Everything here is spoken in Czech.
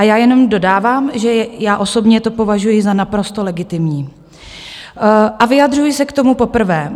A já jenom dodávám, že já osobně to považuji za naprosto legitimní a vyjadřuji se k tomu poprvé.